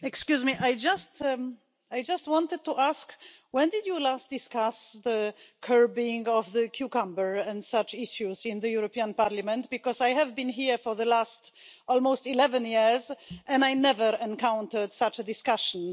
Excuse me, I just wanted to ask, when did you last discuss the curving of the cucumber and such issues in the European Parliament, because I have been here for the last almost 11 years and I never encountered such a discussion.